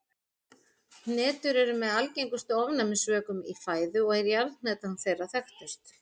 Hnetur eru með algengustu ofnæmisvökum í fæðu og er jarðhnetan þeirra þekktust.